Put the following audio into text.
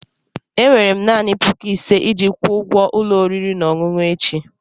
Enwere m naanị puku ise iji kwụọ ụgwọ ụlọ oriri na ọṅụṅụ echi.